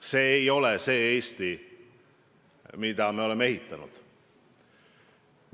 See ei ole see Eesti, mida me oleme ehitanud.